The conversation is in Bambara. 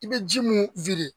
I bɛ ji mun